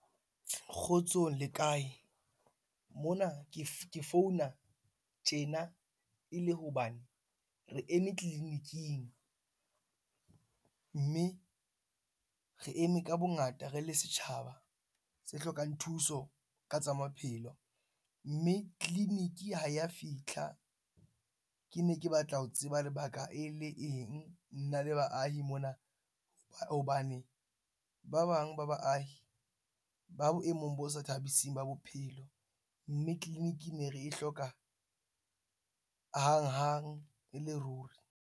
Kgotsong le kae? Mona ke founa tjena e le hobane re eme clinic-ing, mme re eme ka bongata, re le setjhaba se hlokang thuso ka tsa maphelo. Mme clinic-i ha ya fitlha. Ke ne ke batla ho tseba lebaka e le eng? Nna le baahi mona hobane ba bang ba baahi ba boemong bo sa thabising ba bophelo. Mme clinic-i ne re e hloka hanghang e le ruri.